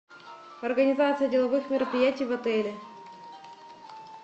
организация деловых мероприятий в отеле